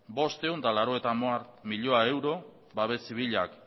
bostehun eta laurogei milioi euro babes zibilak